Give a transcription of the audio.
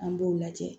An b'o lajɛ